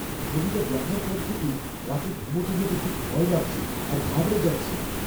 ছবিটা দেখার পর থেকেই রাতে ঘুমোতে যেতে খুব ভয় লাগছে আর ঘাবড়ে যাচ্ছি।